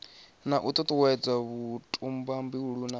na u tutuwedza vhutumbuli na